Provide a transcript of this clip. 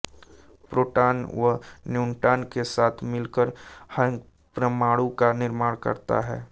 proton व neutron के साथ मिलकर यह्परमाणु का निर्माण करता है